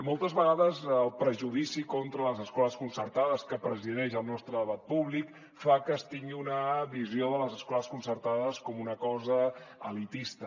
moltes vegades el prejudici contra les escoles concertades que presideix el nostre debat públic fa que es tingui una visió de les escoles concertades com una cosa elitista